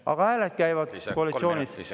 Aga hääled koalitsioonist.